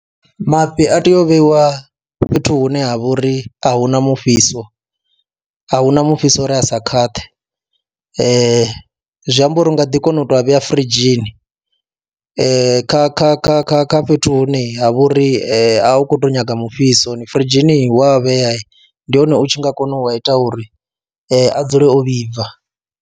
Mafhi a tea u vheiwa fhethu hune ha vha uri a hu na mufhiso, a hu na mufhiso uri a sa khwaṱhe, zwi amba uri u nga ḓi kona u tou vhea firidzhini kha kha kha kha kha fhethu hune ha vha uri a hu khou tou nyaga mufhiso, firidzhini wa a vhea ndi hone u tshi nga kona u a ita uri a dzule o vhibva.